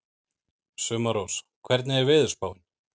Sumarrós, hvernig er veðurspáin?